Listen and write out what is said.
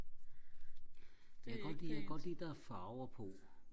det er ikke pænt